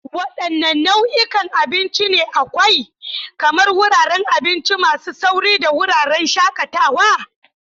Wadanne nau'ikan abinci ne akwai, kamar wuraren abinci masu sauri da wuraren shakatawa?